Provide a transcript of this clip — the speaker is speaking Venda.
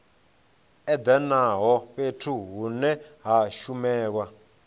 edanaho fhethu hune ha shumelwa